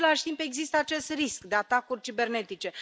În același timp, există acest risc de atacuri cibernetice.